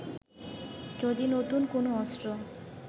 যদি নতুন কোন অস্ত্র